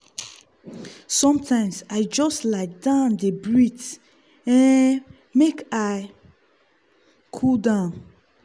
sometimes i just lie down dey breathe um make i cool down.